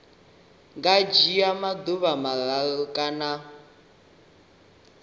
nga dzhia maḓuvha mararu kana